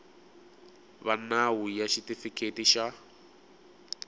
va nawu ya xitifiketi xa